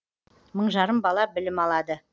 мың жарым бала білім алады